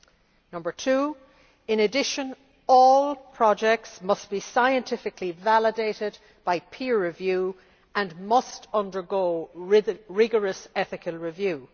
secondly, in addition all projects must be scientifically validated by peer review and must undergo rigorous ethical review